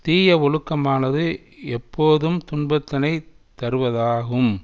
தீய ஒழுக்கமானது எப்போதும் துன்பத்தினை தருவதாகும்